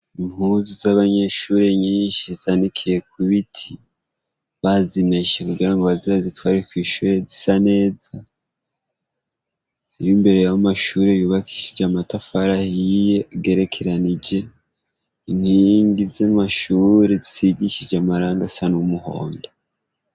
Impuzu z'abanyeshure nyinshi zanikiye ku biti, bazimeshe kugira ngo baze bazitware kw'ishure zisa neza, ziri imbere y'amashure yubakishije amatafari ahiye agerekeranije, inkingi z'amashure zisigishije amarangi asa n'umuhondo.